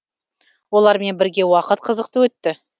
олармен бірге уақыт қызықты өтті